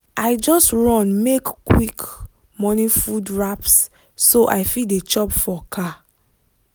i just run make quick morning food wraps so i fit dey chop for car.